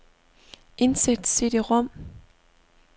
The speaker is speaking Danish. Indsæt cd-rom.